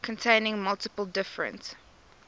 containing multiple different